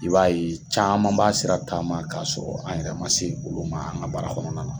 I b'a ye caman b'a sira taama k'a sɔrɔ, an yɛrɛ ma se olu ma, an ga bara kɔnɔna na.